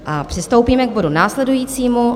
Přistoupíme k bodu následujícímu.